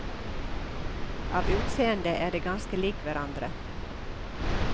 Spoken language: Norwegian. Av utseende er de ganske lik hverandre.